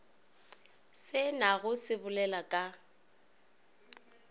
se na go sobelela ka